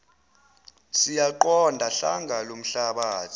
siyaqonda hlanga lomhlabathi